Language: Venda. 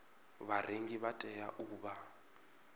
vharengi vha tea u vha